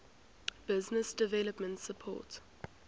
business development support